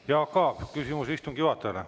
Jaak Aab, küsimus istungi juhatajale.